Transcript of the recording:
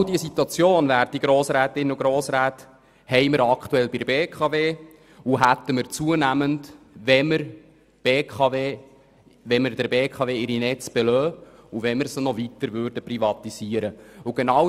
Genau diese Situation haben wir aktuell bei der BKW, und wir hätten diese zunehmend, wenn wir der BKW ihre Netze belassen und sie gleichzeitig weiter privatisieren würden.